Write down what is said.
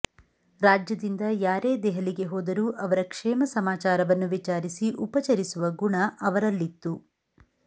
ರಾಜ್ಯದಿಂದ ಯಾರೇ ದೆಹಲಿಗೆ ಹೋದರೂ ಅವರ ಕ್ಷೇಮಸಮಾಚಾರವನ್ನು ವಿಚಾರಿಸಿ ಉಪಚರಿಸುವ ಗುಣ ಅವರಲ್ಲಿತ್ತು